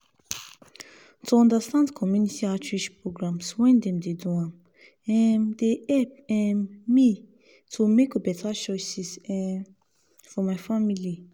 to understand community outreach programs when dem dey do am um dey help um me to make better choices um for my family.